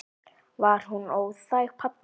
Var hún óþæg, pabbi?